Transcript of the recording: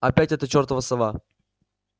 опять эта чёртова сова